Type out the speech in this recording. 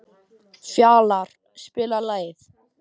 Fjalarr, spilaðu lag.